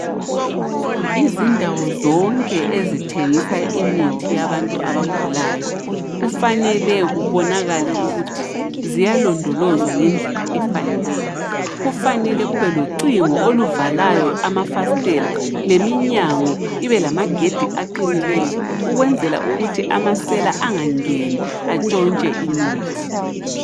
Izindawo zonke ezithengisa imithi yabantu yabagulayo kufanele kubonakale ukuthi ziyalondolozwa ngendlela efaneleyo. Kufanele kube locingo oluvakayo amafasitela leminyango ibelamagedi aqinileyo ukwenzela ukuthi amasela angangeni atshontshe imithi.